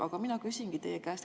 Aga mina küsin teie käest seda.